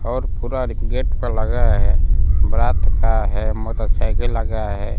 और पूरा गेट पर लगा है बारात का है मोटरसाइकिल लगा है।